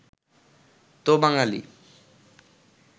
তো বাঙালী